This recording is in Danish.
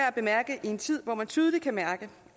at bemærke i en tid hvor man tydeligt kan mærke